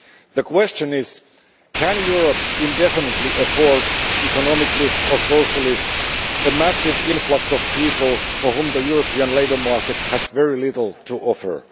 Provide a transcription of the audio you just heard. The question is can Europe indefinitely afford, economically or socially, a massive influx of people for whom the European labour market has very little to offer?